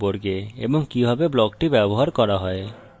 non static block সম্পর্কে এবং কিভাবে ব্লকটি ব্যবহার করা হয়